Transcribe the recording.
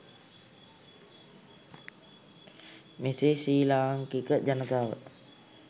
මෙසේ ශ්‍රී ලාංකික ජනතාව